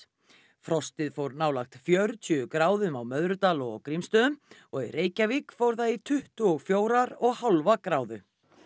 frostið fór nálægt fjörutíu gráðum á Möðrudal og Grímsstöðum og í Reykjavík fór það í tuttugu og fjögurra og hálfs gráðu